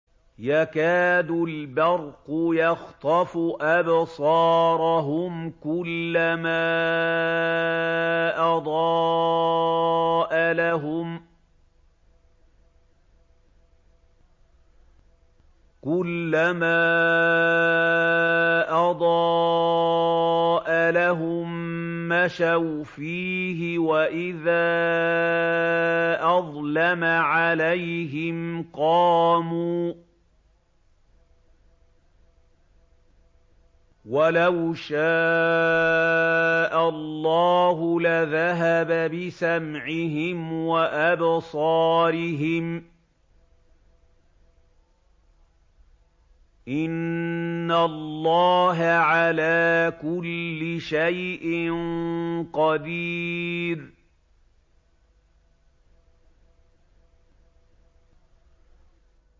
يَكَادُ الْبَرْقُ يَخْطَفُ أَبْصَارَهُمْ ۖ كُلَّمَا أَضَاءَ لَهُم مَّشَوْا فِيهِ وَإِذَا أَظْلَمَ عَلَيْهِمْ قَامُوا ۚ وَلَوْ شَاءَ اللَّهُ لَذَهَبَ بِسَمْعِهِمْ وَأَبْصَارِهِمْ ۚ إِنَّ اللَّهَ عَلَىٰ كُلِّ شَيْءٍ قَدِيرٌ